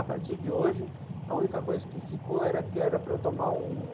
A partir de hoje, a única coisa que ficou era que era para eu tomar um